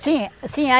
Sim, sim.